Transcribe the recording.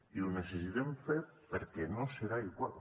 i ho necessitem fer perquè no serà igual